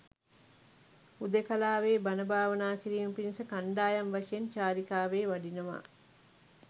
හුදෙකලාවේ බණ භාවනා කිරීම පිණිස කණ්ඩායම් වශයෙන් චාරිකාවේ වඩිනවා.